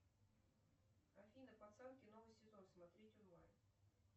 афина пацанки новый сезон смотреть онлайн